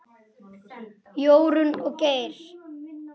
Jórunn og Geir.